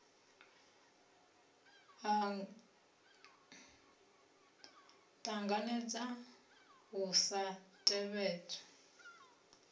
a ṱanganedza u sa tevhedzwa